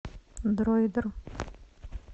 дроидер